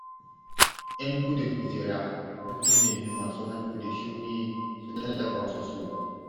Yan gudun hijira sun nemi masu hannu da shuni su tallafa musu.